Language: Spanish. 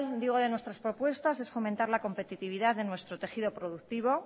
digo de nuestras propuestas es fomentar la competitividad en nuestro tejido productivo